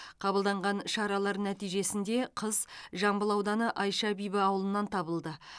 қабылданған шаралар нәтижесінде қыз жамбыл ауданы айша бибі ауылынан табылды